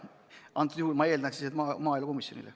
Ja antud juhul ma eeldan, et need tuleb esitada maaelukomisjonile.